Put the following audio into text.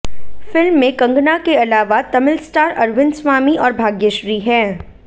film में कंगना के अलावा तमिल स्टार अरविंद स्वामी और भाग्यश्री हैं